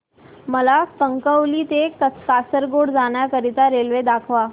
मला कणकवली ते कासारगोड जाण्या करीता रेल्वे दाखवा